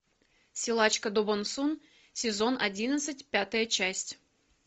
силачка до бон сун сезон одиннадцать пятая часть